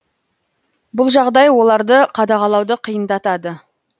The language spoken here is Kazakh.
бұл жағдай оларды қадағалауды қиындатады